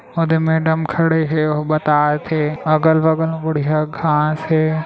ओ दे मेडम खड़े हे अउ बतात हे अगल बगल में बढ़िया घास हे ।